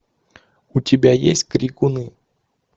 у тебя есть крикуны